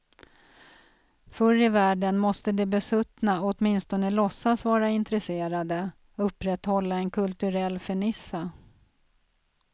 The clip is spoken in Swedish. Förr i världen måste de besuttna åtminstone låtsas vara intresserade, upprätthålla en kulturell fernissa.